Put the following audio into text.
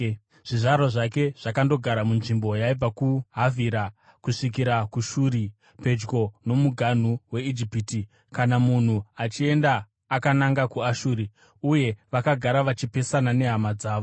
Zvizvarwa zvake zvakandogara munzvimbo yaibva kuHavhira kusvikira kuShuri, pedyo nomuganhu weIjipiti, kana munhu achienda akananga kuAshuri. Uye vakagara vachipesana nehama dzavo.